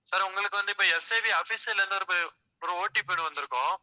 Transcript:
sir, உங்களுக்கு வந்து, இப்ப SIV official ல இருந்து ஒரு ஒரு OTP ஒண்ணு வந்திருக்கும்.